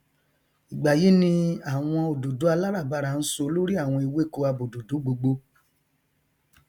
ìgbà yí ni àwọn òdòdó aláràbarà ń so lórí àwọn ewéko abòdòdó gbogbo